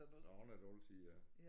Sådan er det altid ja